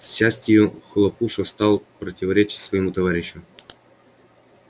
к счастию хлопуша стал противоречить своему товарищу